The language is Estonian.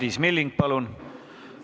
Madis Milling, palun!